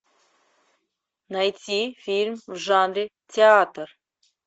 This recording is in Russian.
найти фильм в жанре театр